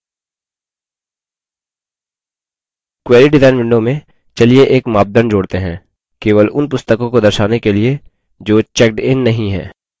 query design window में चलिए एक मापदंड जोड़ते हैं केवल उन पुस्तकों को दर्शाने के लिए जो checked इन नहीं हैं